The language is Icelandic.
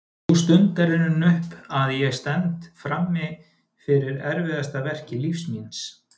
Sú stund er runnin upp að ég stend frammi fyrir erfiðasta verki lífs míns.